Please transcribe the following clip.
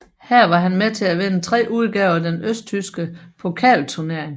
Her var han med til at vinde tre udgaver af den østtyske pokalturnering